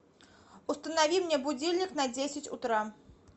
установи мне будильник на десять утра